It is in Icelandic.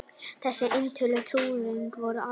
Þessi eintöl trúarinnar voru áleitin.